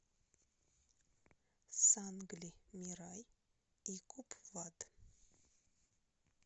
сангли мирай и купвад